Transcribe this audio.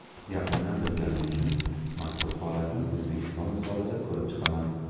Yaqindan bilganim uchun mazkur holatni O‘zbekiston misolida ko‘rib chiqaman.